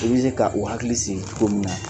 O bɛ k' u hakili sigi ko nunu nan